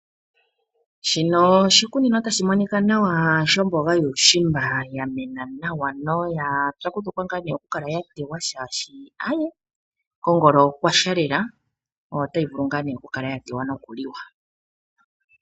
Shino oshikunino tashi monika nawa shomboga yuushimba yamena nawa noya pyakudhukwa ngaa nee okukala ya teywa shaashi ae kongolo okwasha lela, otayi vulu ngaa nee okukala ya teywa nokuliwa.